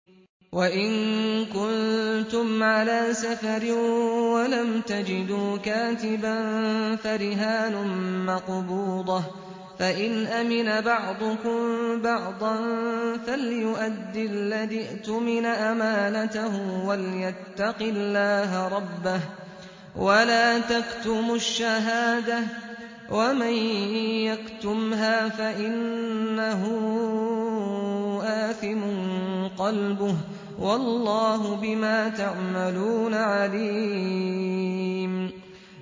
۞ وَإِن كُنتُمْ عَلَىٰ سَفَرٍ وَلَمْ تَجِدُوا كَاتِبًا فَرِهَانٌ مَّقْبُوضَةٌ ۖ فَإِنْ أَمِنَ بَعْضُكُم بَعْضًا فَلْيُؤَدِّ الَّذِي اؤْتُمِنَ أَمَانَتَهُ وَلْيَتَّقِ اللَّهَ رَبَّهُ ۗ وَلَا تَكْتُمُوا الشَّهَادَةَ ۚ وَمَن يَكْتُمْهَا فَإِنَّهُ آثِمٌ قَلْبُهُ ۗ وَاللَّهُ بِمَا تَعْمَلُونَ عَلِيمٌ